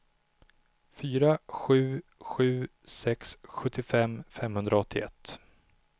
fyra sju sju sex sjuttiofem femhundraåttioett